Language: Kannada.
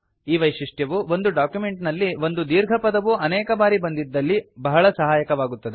ಈ ವೈಶಿಷ್ಟ್ಯವು ಒಂದು ಡಾಕ್ಯುಮೆಂಟ್ ನಲ್ಲಿ ಒಂದು ದೀರ್ಘ ಪದವು ಅನೇಕ ಬಾರಿ ಬಂದಿದ್ದಲ್ಲಿ ಬಹಳ ಸಹಾಯಕವಾಗುತ್ತದೆ